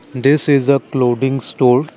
this is the clouding store.